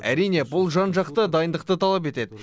әрине бұл жан жақты дайындықты талап етеді